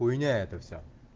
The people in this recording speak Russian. хуйня это всё